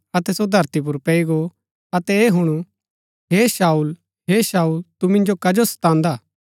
अतै सो धरती पुर पैई गो अतै ऐह हुणु हे शाऊल हे शाऊल तू मिन्जो कजो सतांदा